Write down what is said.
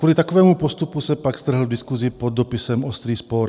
Kvůli takovému postupu se pak strhl v diskusi pod dopisem ostrý spor.